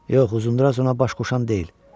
Yox, Uzundraz ona baş qoşan deyil.